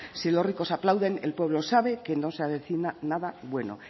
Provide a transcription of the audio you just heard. si los ricos aplauden el pueblo sabe que no se avecina nada bueno